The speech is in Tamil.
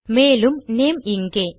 மேலும் நேம் இங்கே